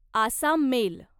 Assam mail